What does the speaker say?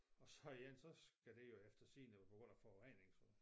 Og så igen så skal de jo eftersigende være på grund af forurening så